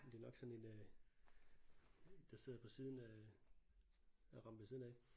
Men det er nok sådan en øh der sidder på siden øh der har ramt ved siden af